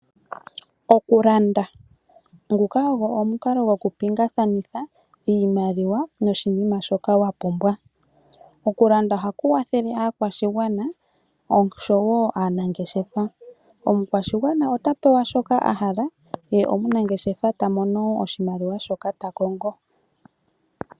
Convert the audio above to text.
Okulanda, nguka ogo omukalo gokupiingakanitha iimaliwa noshinima shoka wapumbwa. Okulanda oha kukwathele aakwashigwana osho wo aanangeshefa. Omukwashigwana ota pewa shoka a hala ye omunangeshefa ta mono oshimaliwa shoka ta kongo.